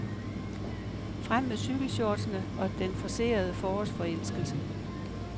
Frem med cykelshortsene og den forcerede forårsforelskelse.